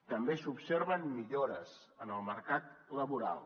també s’observen millores en el mercat laboral